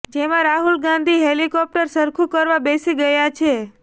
જેમાં રાહુલ ગાંધી હેલિકોપ્ટર સરખું કરવા બેસી ગયા છે